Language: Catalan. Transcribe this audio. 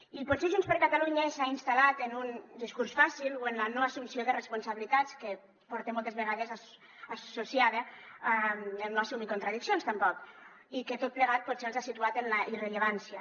i potser junts per catalunya s’ha instal·lat en un discurs fàcil o en la no assumpció de responsabilitats que porta moltes vegades associada el no assumir contradiccions tampoc i que tot plegat potser els ha situat en la irrellevància